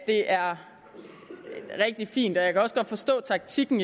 er rigtig fint og jeg kan også godt forstå taktikken